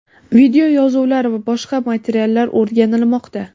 videoyozuvlar va boshqa materiallar o‘rganilmoqda.